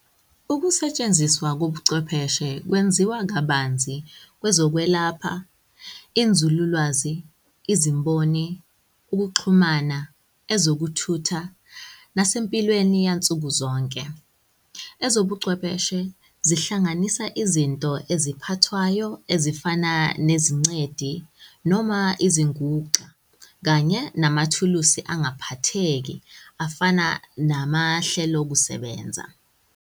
Ukusetshenziswa kobuchwepheshe kwenziwa kabanzi kwezokwelapha, inzululwazi, izimboni, ukuxhumana, ezokuthutha, nasempilweni yansuku zonke. Ezobuchwepheshe zihlanganisa izinto eziphathwayo ezifana nezingcedi noma izinguxa kanye namathuluzi angaphatheki afana namahlelokusebenza.